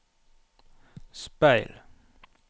speil